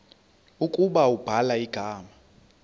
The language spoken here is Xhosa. ukuba ubhala igama